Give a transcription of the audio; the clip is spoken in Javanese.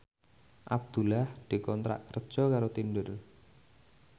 Abdullah dikontrak kerja karo Tinder